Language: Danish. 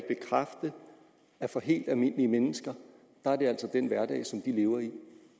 bekræfte at for helt almindelige mennesker er det altså den hverdag som de lever i